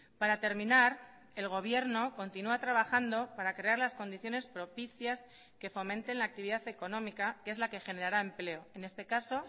para terminar el gobierno continúa trabajando para crear las condiciones propicias que fomenten la actividad económica que es la que generara empleo en este caso